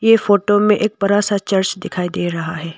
ये फोटो में एक बड़ा सा चर्च दिखाई दे रहा है।